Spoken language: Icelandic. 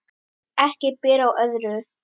Ekki ber á öðru